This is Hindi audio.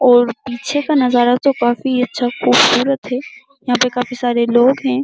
और पीछे का नजारा तो काफी अच्छा ख़ूबसूरत है। यहां पे काफी सारे लोग हैं।